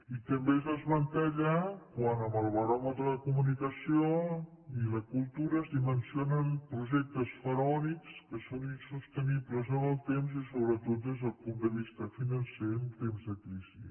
i també es desmantella quan en el baròmetre de la comunicació i la cultura es dimensionen projectes faraònics que són insostenibles en el temps i sobretot des del punt de vista financer en temps de crisi